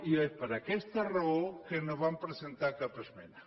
i és per aquesta raó que no van presentar cap esmena